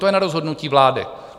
To je na rozhodnutí vlády.